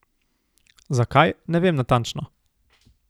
Zakaj, ne vem natančno.